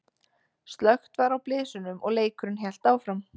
Slökkt var á blysunum og leikurinn hélt áfram.